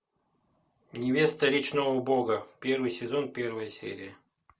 невеста речного бога первый сезон первая серия